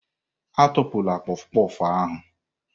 Atụpụla kpof kpof ahụ!